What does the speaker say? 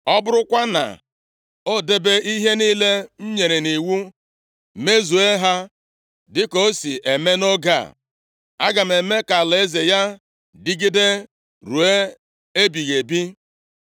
Ọ bụrụkwa na o debe ihe niile m nyere nʼiwu, mezuo ha dịka o si eme nʼoge a. Aga m eme ka alaeze ya dịgide ruo ebighị ebi.’